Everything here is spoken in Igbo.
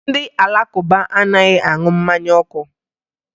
Ndị Alakụba anaghị aṅụ mmanya ọkụ